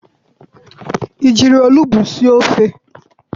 I jiri olugbu sie ofe?